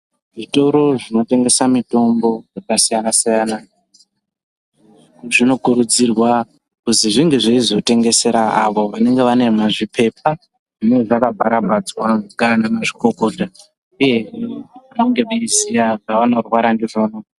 Zvitoro zvinotengesa mitombo yakasiyana-siyana, zvinokurudzirwa kuzi zvinge zveizotengesera avo vanenge vane mazvipepa zvinenge zvakabharabhadzwa ngaana mazvikokota uyehe vange veiziya zvavanorwara ndizvona.